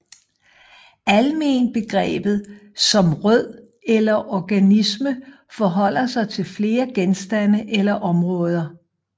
Almenbegreber som rød eller organisme forholder sig til flere genstande eller områder